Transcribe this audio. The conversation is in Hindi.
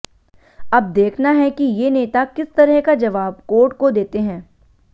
अब देखना है कि ये नेता किस तरह का जवाब कोर्ट को देते हैं